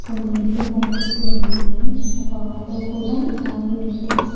నీళ్లు కనిపిస్తూ ఉన్నాయి ఒక ఆటో కూడ ఆగి ఉంది.